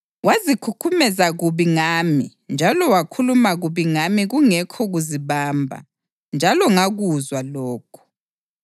Wazikhukhumeza kubi ngami njalo wakhuluma kubi ngami kungekho kuzibamba, njalo ngakuzwa lokho.